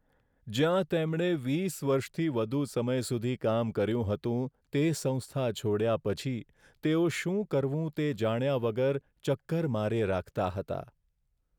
જ્યાં તેમણે વીસ વર્ષથી વધુ સમય સુધી કામ કર્યું હતું તે સંસ્થા છોડ્યા પછી, તેઓ શું કરવું તે જાણ્યા વગર ચક્કર માર્યે રાખતા હતા.